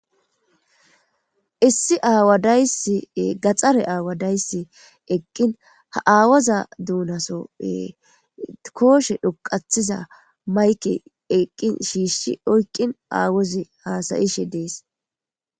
Issi aawadaysi gaxxare aawadaysi eqqin ha aawaza duunasoppe kooshe dhuqathiza mayke eqqin shiishshi oykqin aawozi haasayishe dees.